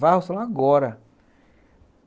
Varra o salão agora.